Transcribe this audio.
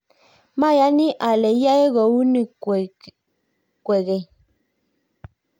mayani ale iyoe kouni kwekeny